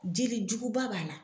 Jelijuguba b'a la.